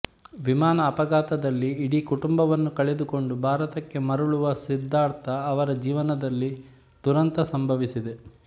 ವಿಮಾನ ಅಪಘಾತದಲ್ಲಿ ಇಡೀ ಕುಟುಂಬವನ್ನು ಕಳೆದುಕೊಂಡು ಭಾರತಕ್ಕೆ ಮರಳುವ ಸಿದ್ಧಾರ್ಥ್ ಅವರ ಜೀವನದಲ್ಲಿ ದುರಂತ ಸಂಭವಿಸಿದೆ